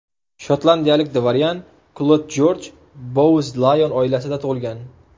Shotlandiyalik dvoryan Klod Jorj Bouz-Layon oilasida tug‘ilgan.